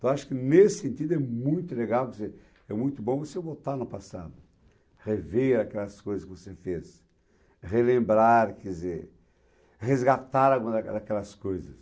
Então, acho que nesse sentido é muito legal, quer dizer, é muito bom você voltar no passado, rever aquelas coisas que você fez, relembrar, quer dizer, resgatar alguma daquela daquelas coisas.